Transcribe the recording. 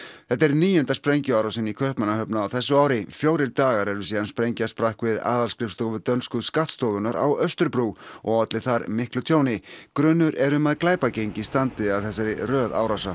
þetta er níunda sprengjuárásin í Kaupmannahöfn á þessu ári fjórir dagar eru síðan sprengja sprakk við aðalskrifstofu dönsku skattstofunnar á Austurbrú og olli þar miklu tjóni grunur er um að glæpagengi standi að þessari röð árása